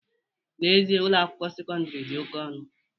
N'ezie, Ụlọ akwụkwọ sekọndrị dị oke ọnụ